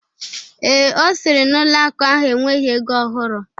Ee, Ọ sịrị na ụlọ akụ ahụ enweghị ego ọhụrụ.